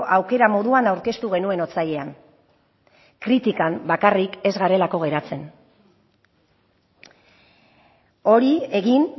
aukera moduan aurkeztu genuen otsailean kritikan bakarrik ez garelako geratzen hori egin